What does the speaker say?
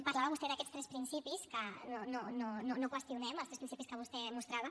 parlava vostè d’aquests tres principis que no qüestionem els tres principis que vostè mostrava